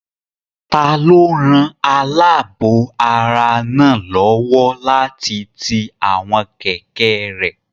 Taló ran alaabo ara náà lówó láti ti àwọn kẹ̀kẹ́ rẹ?